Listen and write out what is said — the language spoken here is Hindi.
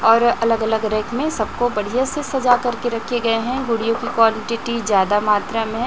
और अलग अलग रैक में सबको बढ़िया से सजा कर रखे गए हैं गुड़ियों की क्वांटिटी ज्यादा मात्रा में है।